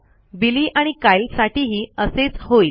बिली आणि कायल साठीही असेच होईल